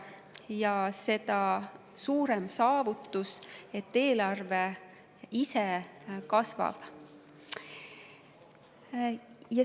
See on seda suurem saavutus, et eelarve ise kasvab.